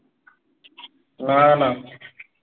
না না